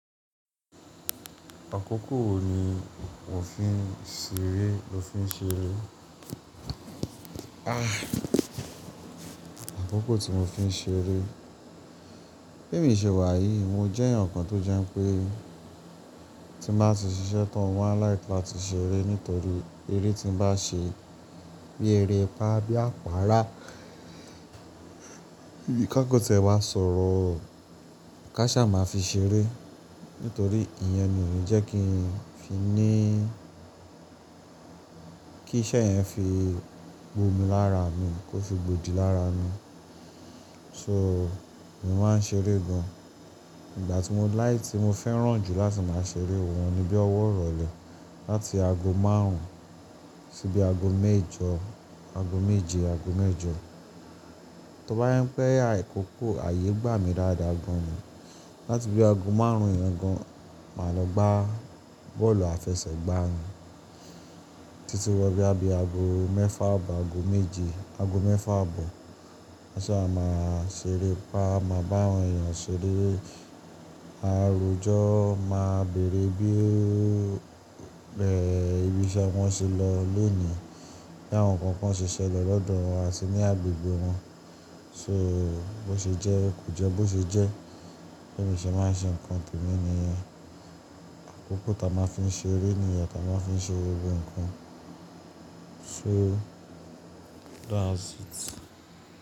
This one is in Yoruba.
Àkókò wo ni mo fi ń ṣeré, mo fi ń ṣeré? Àkókò tí mo fi ń ṣeré. Bi emi ṣe wà yìí, mo jẹ́ ẹ̀yàn kan tó jẹ́ pé tí mo bá ti ṣiṣẹ́ tán mo máa like áti ṣeré nítorí eré tí m'bá ṣe bí erepaá á bí àpára Bí ká kan ti ẹ ma sọ̀rọ̀ ká sá máa fi ṣeré, nítorí ìyẹn ni òní jẹ́ kí n fi ní kí iṣẹ́ yẹn fi gbó mi lára mi, kó fi gbòdì lára mi. So, mo máa ń ṣeré gan. Ìgbà tí mo láì tí mo fẹ́ràn jù láti máa ṣeré òun ni bí ọwọ́ irọlẹ̀ láti ago márùn-ún síbi ago méjọ, ago méje, ago mẹ́jọ. Tóbá yẹ́n pẹ́ àkókò ààyè gbà mí dáadáa gan ni. Láti bí ago márùn-ún yẹn gan máa lọ gbá bọ́ọ̀lù àfẹsẹ̀gbá, títí wọ bí a bí ago mẹ́fà àbọ̀ ago méje, ago mẹ́fà àbọ̀. Káṣá máa ṣeré pa máa bá àwọn èèyàn ṣeré. Àárò ọjọ́ máa bèrè bí bẹ́ ibiṣẹ́ wọn ṣe lọ lónìí bí àwọn nǹkan kan ṣe ṣẹlẹ̀ lọ́dọ̀ wọn àti ní agbègbè wọn. So, bó ṣe jẹ́ kò jẹ́ bó ṣe jẹ́, Bẹ́ẹ̀ mi ṣe máa ń ṣe nǹkan tèmi nìyẹn. Àkókò táa máa ń fi ṣeré nìyẹn táa máa fi n ṣe gbogbo nǹkan. So that's it.